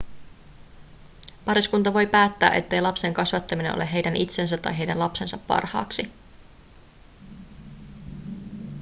pariskunta voi päättää ettei lapsen kasvattaminen ole heidän itsensä tai heidän lapsensa parhaaksi